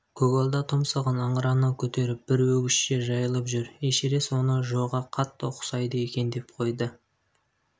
көгалда тұмсығын ыңырана көтеріп бір өгізше жайылып жүр эшерест оны джоға қатты ұқсайды екен деп қойды